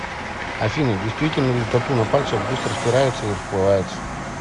афина действительно ли тату на пальцах быстро стирается и расплывается